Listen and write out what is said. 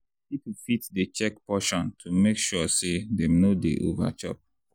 people fit dey check portion to make sure say dem no dey over-chop.